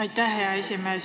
Aitäh, hea esimees!